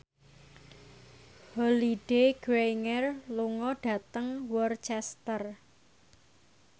Holliday Grainger lunga dhateng Worcester